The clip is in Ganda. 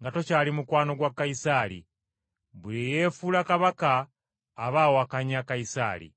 nga tokyali mukwano gwa Kayisaali. Buli eyeefuula kabaka aba awakanya Kayisaali.”